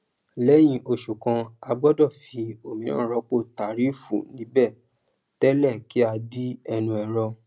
léyìn òsè kan a gbódò fi òmíràn rópò tàrífù níbè télè kí a di ẹnu ẹrọ